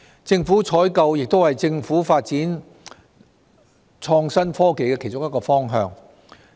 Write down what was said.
政府採購亦是政府發展創新科技的其中一個方向。